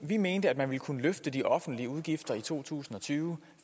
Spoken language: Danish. vi mente at man ville kunne løfte de offentlige udgifter i to tusind og tyve